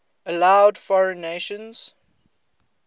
allowed foreign nations